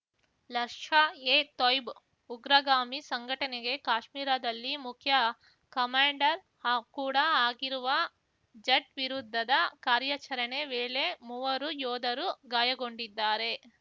ಲಶ್ಷಾ ಎ ತೊಯ್ಬ್ ಉಗ್ರಗಾಮಿ ಸಂಘಟನೆಗೆ ಕಾಶ್ಮೀರದಲ್ಲಿ ಮುಖ್ಯ ಕಮಾಂಡೆರ್‌ ಆ ಕೂಡ ಆಗಿರುವ ಜಟ್‌ ವಿರುದ್ಧದ ಕಾರ್ಯಾಚರಣೆ ವೇಳೆ ಮೂವರು ಯೋಧರು ಗಾಯಗೊಂಡಿದ್ದಾರೆ